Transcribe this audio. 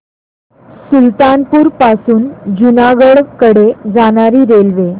सुल्तानपुर पासून जुनागढ कडे जाणारी रेल्वे